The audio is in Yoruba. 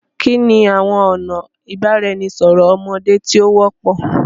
Kini awọn ọna ibaraẹnisọrọ ọmọde ti o wọpọ?